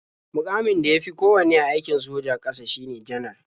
Muƙamin da ya fi kowanne a aikon sojan ƙasa shine Janar.